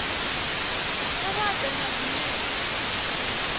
kha vha ḓe na zwinepe